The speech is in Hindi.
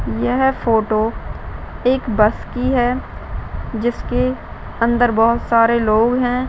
यह फोटो एक बस की है जिसके अंदर बहुत सारे लोग है।